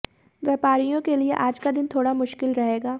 व्यापारियों के लिए आज का दिन थोड़ा मुश्किल रहेगा